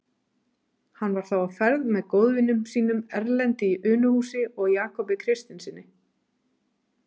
Hann var þá á ferð með góðvinum sínum, Erlendi í Unuhúsi og Jakobi Kristinssyni.